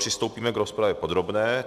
Přistoupíme k rozpravě podrobné.